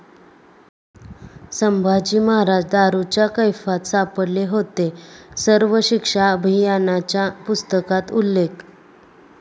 संभाजी महाराज दारूच्या कैफात सापडले होते', सर्व शिक्षा अभियानाच्या पुस्तकात उल्लेख